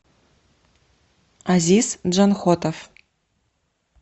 азиз джанхотов